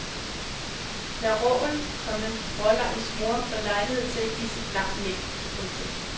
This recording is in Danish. Lad råen, komma rålammets mor få lejlighed til at give sit lam mælk. punktum